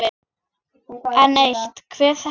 Enn eitt: Hver þekkir hvern?